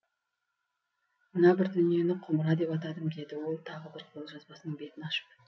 мына бір дүниені құмыра деп атадым деді ол тағы бір қолжазбасының бетін ашып